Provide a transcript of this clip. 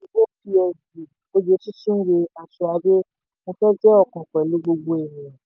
ogechi chinwe altraide mo fẹ́ jẹ́ ọ̀kan pẹ̀lú gbogbo ènìyàn.